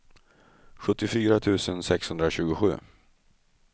sjuttiofyra tusen sexhundratjugosju